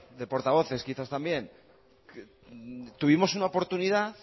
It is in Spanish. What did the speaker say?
de portavoces quizás también tuvimos una oportunidad